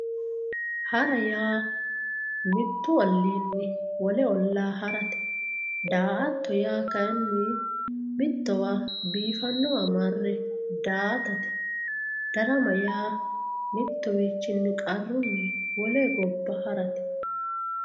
Hara yaa mitu oliinni wole olaa harate, daa'atto yaa kayini mitowa biifanowa marre daa'atate, darama yaa mituwichinni qarunni wole goba harate